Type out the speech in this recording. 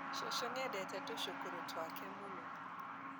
Cucu nĩendete tũcukuru twake mũno